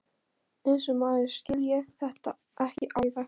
Eins og maður skilji þetta ekki alveg!